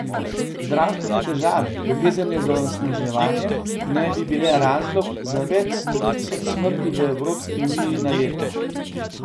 Zdravstvene težave, povezane z onesnaženjem, naj bi bile razlog za več sto tisoč smrti v Evropski uniji na leto.